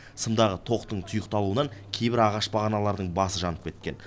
сымдағы тоқтың тұйықталуынан кейбір ағаш бағаналардың басы жанып кеткен